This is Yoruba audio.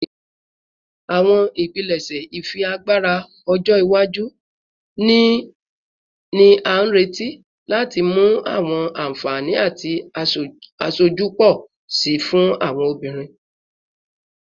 Awọn ipilẹṣẹ ifiagbara ọjọ iwaju ni a nireti lati mu awọn anfani ati aṣoju pọ si fun awọn obinrin